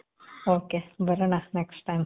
ok. ಬರಣ next time.